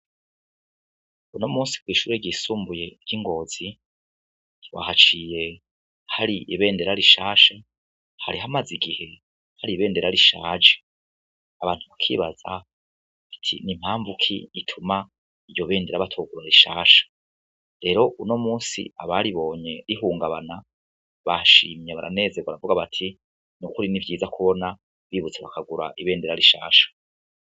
Uno musi kw'ishuri ryisumbuye ry'ingozi twahaciye har'ibendera rishasha hari hamaze igihe har'ibendera rishaje abantu bakibaza ati ni mpamvu ki ituma iryo bendera batogura rishasha, rero uno musi abaribonye rihungabana bashimye baranezerwa baravuga bati ni ukuri ni vyiza kubona bibutse bakagura ibendera rishasha.